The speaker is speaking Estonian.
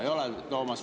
Ei ole, Toomas!